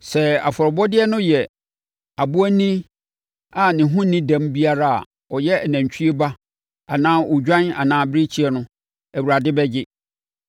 sɛ afɔrebɔdeɛ no yɛ aboanini a ne ho nni dɛm biara a ɔyɛ nantwie ba anaa odwan anaa abirekyie no, Awurade bɛgye.